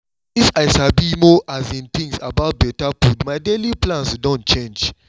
since i sabi more um things about better food my daily plans don change